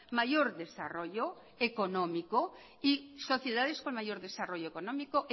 mayor desarrollo económico y sociedades con mayor desarrollo económico